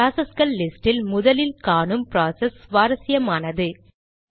ப்ராசஸ்கள் லிஸ்ட் இல் முதலில் காணும் ப்ராசஸ் சுவாரசியமானது